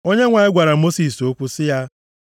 Onyenwe anyị gwara Mosis okwu sị ya,